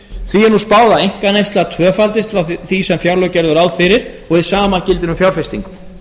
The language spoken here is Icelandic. því er spáð að einkaneysla tvöfaldist frá því sem fjárlög gerðu ráð fyrir og hið sama gildir um fjárfestingu